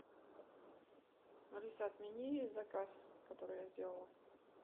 алиса отмени заказ который я сделала